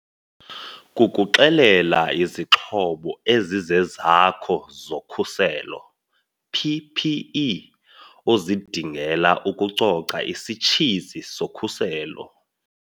Kukuxelela iziXhobo ezizeZakho zoKhuselo PPE ozidingela ukucoca isitshizi sokhuselo.